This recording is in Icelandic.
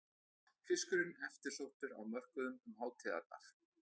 Fiskurinn eftirsóttur á mörkuðum um hátíðarnar